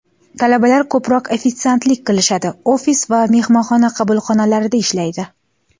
Talabalar ko‘proq ofitsiantlik qilishadi, ofis va mehmonxona qabulxonalarida ishlaydi.